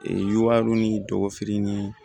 Ee yuwaro ni dɔgɔnin nii